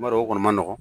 N b'a dɔn o kɔni ma nɔgɔ